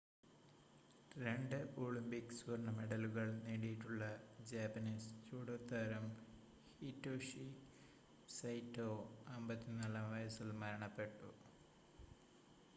രണ്ട് ഒളിമ്പിക് സ്വർണ്ണ മെഡലുകൾ നേടിയിട്ടുള്ള ജാപ്പനീസ് ജൂഡോ താരം ഹിറ്റോഷി സൈറ്റോ 54-ആം വയസിൽ മരണപ്പെട്ടു